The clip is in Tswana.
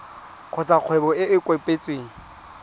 kgotsa kgwebo e e kopetsweng